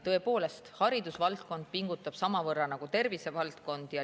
Tõepoolest, haridusvaldkond pingutab samavõrra nagu tervisevaldkond.